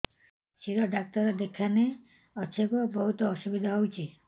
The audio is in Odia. ଶିର ଡାକ୍ତର କେଖାନେ ଅଛେ ଗୋ ବହୁତ୍ ଅସୁବିଧା ହଉଚି